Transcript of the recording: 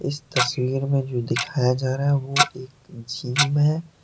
इस तस्वीर में जो दिखाया जा रहा है वह एक जिम हैं।